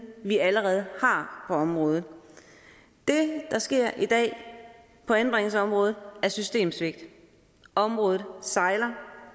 vi allerede har på området det der sker i dag på anbringelsesområdet er systemsvigt og området sejler